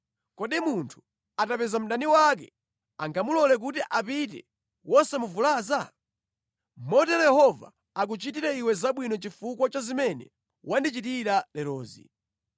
Kodi munthu atapeza mdani wake angamulole kuti apite wosamuvulaza? Motero Yehova akuchitire iwe zabwino chifukwa cha zimene wandichitira lerozi.